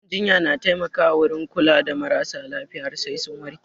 Gidan jinya na taimaka wurin kula da maras lafiya har sai sun warke